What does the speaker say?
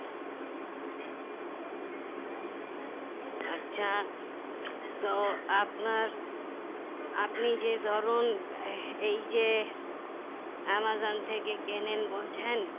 আচ্ছা তো আপনার আপনি যে ধরুন এই যে অ্যামাজন থেকে কেনেন বলছেন